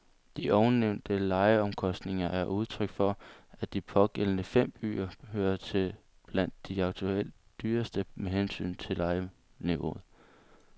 De ovennævnte lejeomkostninger er udtryk for, at de pågældende fem byer hører til blandt de aktuelt dyreste med hensyn til lejeniveau.